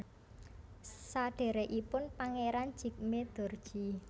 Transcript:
Sadhèrèkipun Pangeran Jigme Dorji